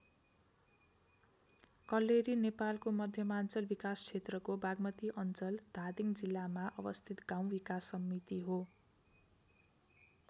कल्लेरी नेपालको मध्यमाञ्चल विकास क्षेत्रको बागमती अञ्चल धादिङ जिल्लामा अवस्थित गाउँ विकास समिति हो।